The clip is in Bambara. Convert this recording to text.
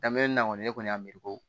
Daminɛ na kɔni ne kɔni y'a miiri ko